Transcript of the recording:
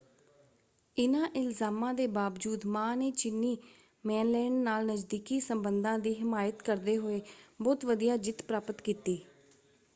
ਇਨ੍ਹਾਂ ਇਲਜ਼ਾਮਾਂ ਦੇ ਬਾਵਜੂਦ ਮਾਂ ਨੇ ਚੀਨੀ ਮੇਨਲੈਂਡ ਨਾਲ ਨਜ਼ਦੀਕੀ ਸੰਬੰਧਾਂ ਦੀ ਹਿਮਾਇਤ ਕਰਦੇ ਹੋਏੇ ਬਹੁਤ ਵਧੀਆ ਜਿੱਤ ਪ੍ਰਾਪਤ ਕੀਤੀ।